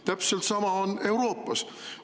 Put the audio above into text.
Täpselt sama on Euroopas.